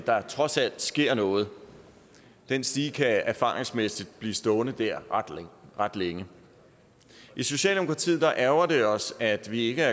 der trods alt sker noget den stige kan erfaringsmæssigt blive stående der ret længe i socialdemokratiet ærgrer det os at vi ikke